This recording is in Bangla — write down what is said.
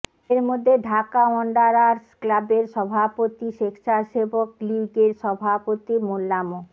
এর মধ্যে ঢাকা ওয়ান্ডারার্স ক্লাবের সভাপতি স্বেচ্ছাসেবক লীগের সভাপতি মোল্লা মো